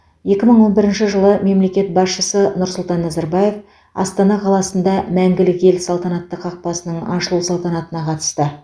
екі мың он бірінші жылы мемлекет басшысы нұрсұлтан назарбаев астана қаласында мәңгілік ел салтанатты қақпасының ашылу салтанатына қатысты